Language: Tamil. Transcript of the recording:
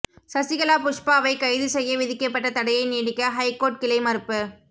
சசிகலா புஷ்பாவை கைது செய்ய விதிக்கப்பட்ட தடையை நீடிக்க ஹைகோர்ட் கிளை மறுப்பு